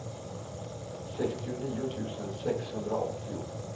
sextionio tusen sexhundraåttio